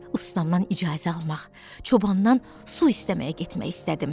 Ustamdan icazə almaq, çobandan su istəməyə getmək istədim.